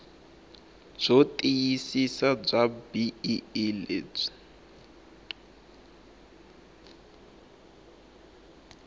byo tiyisisa bya bee lebyi